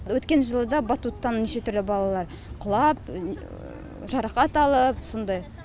өткен жылы да батуттан неше түрлі балалар құлап жарақат алып сондай